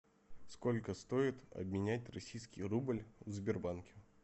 сколько стоит обменять российский рубль в сбербанке